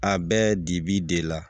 A bɛ dibi de la